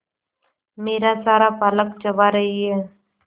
मेरा सारा पालक चबा रही है